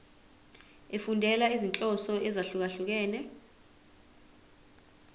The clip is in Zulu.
efundela izinhloso ezahlukehlukene